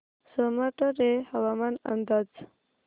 सोमाटणे हवामान अंदाज